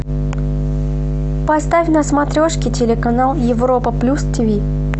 поставь на смотрешке телеканал европа плюс тиви